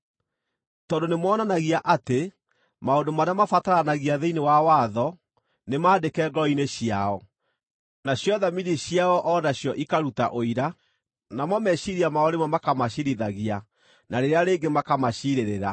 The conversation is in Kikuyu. tondũ nĩmonanagia atĩ maũndũ marĩa mabataranagia thĩinĩ wa watho nĩmandĩke ngoro-inĩ ciao, nacio thamiri ciao o nacio ikaruta ũira, namo meciiria mao rĩmwe makamaciirithagia na rĩrĩa rĩngĩ makamaciirĩrĩra.)